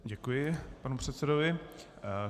Děkuji panu předsedovi.